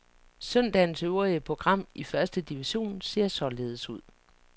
Søndagens øvrige program i første division ser således ud.